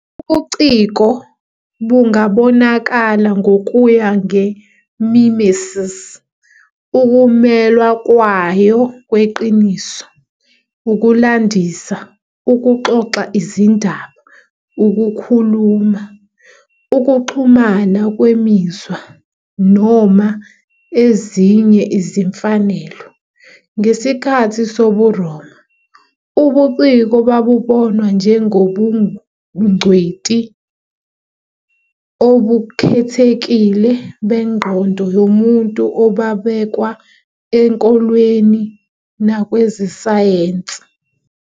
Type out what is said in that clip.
Ubuciko bungabonakala ngokuya nge-mimesis, ukumelwa kwayo kweqiniso, ukulandisa, ukuxoxa izindaba, ukukhuluma, ukuxhumana kwemizwa, noma ezinye izimfanelo. Ngesikhathi sobuRoma, ubuciko babonwa "njengobungcweti obukhethekile bengqondo yomuntu obabekwa enkolweni nakwezesayensi".